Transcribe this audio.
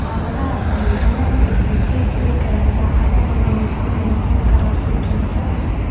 Xaaladaha daran, xanuunku wuxuu sii jiri karaa saacado badan wuxuuna soo noqon karaa si joogto ah.